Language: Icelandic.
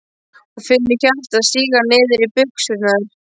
Og finnur hjartað síga niður í buxurnar.